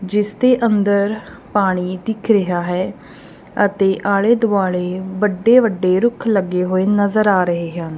ਜਿਸਦੇ ਅੰਦਰ ਪਾਣੀ ਦਿੱਖ ਰਿਹਾ ਹੈ ਅਤੇ ਆਲੇ ਦੁਆਲੇ ਵੱਡੇ ਵੱਡੇ ਰੁੱਖ ਲੱਗੇ ਹੋਏ ਨਜ਼ਰ ਆ ਰਹੇ ਹਨ।